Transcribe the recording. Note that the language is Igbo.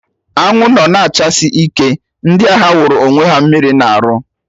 Anwụ nọ na-achasi ike, ndị ahịa wụrụ onwe ha mmiri na-arụ